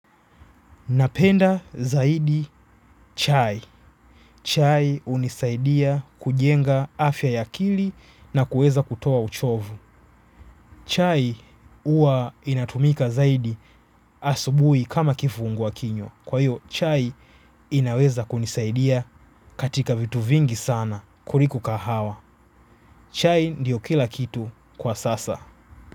Napenda zaidi chai. Chai hunisaidia kujenga afya ya akili na kuweza kutoa uchovu. Chai huwa inatumika zaidi asubuhi kama kifungwa kinywa. Kwa hiyo chai inaweza kunisaidia katika vitu vingi sana kuliko kahawa. Chai ndiyo kila kitu kwa sasa.